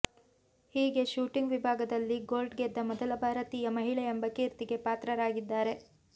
ಹೀಗೆ ಶೂಟಿಂಗ್ ವಿಭಾಗದಲ್ಲಿ ಗೋಲ್ಡ್ ಗೆದ್ದ ಮೊದಲ ಭಾರತೀಯ ಮಹಿಳೆ ಎಂಬ ಕೀರ್ತಿಗೆ ಪಾತ್ರರಾಗಿದ್ದಾರೆ